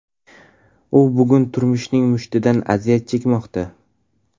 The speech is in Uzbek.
U bugun turmushning mushtidan aziyat chekmoqda.